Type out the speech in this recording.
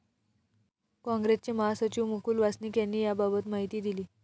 कॉग्रेसचे महासचिव मुकुल वासनिक यांनी याबाबत माहिती दिली.